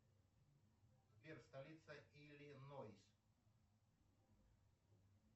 сбер столица иллинойс